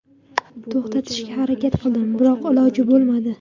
To‘xtatishga harakat qildim, biroq iloji bo‘lmadi.